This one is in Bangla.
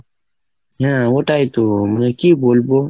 হ্যাঁ ওটাই তো, মানে কি বলবো?